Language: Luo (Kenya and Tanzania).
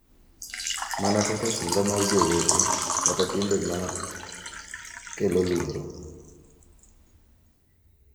Mana kaka sunga mar jowete kata timbe ma kelo luoro.